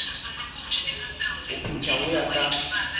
ho petha ho ya ka